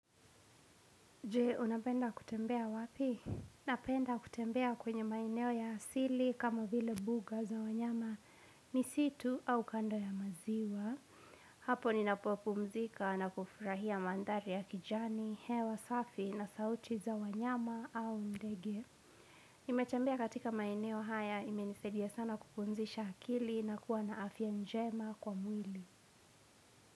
Jee, unapenda kutembea wapi? Napenda kutembea kwenye maeneo ya asili kama vile buga za wanyama misitu au kando ya maziwa. Hapo ninapopumzika na kufurahia mandhari ya kijani, hewa safi na sauti za wanyama au ndege. Nimetembea katika maeneo haya imenisaidia sana kupumzisha akili na kuwa na afya njema kwa mwili.